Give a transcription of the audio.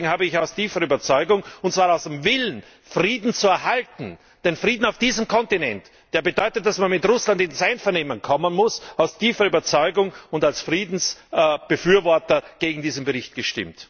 Deswegen habe ich aus tiefer Überzeugung und zwar aus dem Willen, Frieden zu erhalten den Frieden auf diesem Kontinent, der bedeutet, dass man mit Russland ins Einvernehmen kommen muss aus tiefer Überzeugung und als Friedensbefürworter gegen diesen Bericht gestimmt.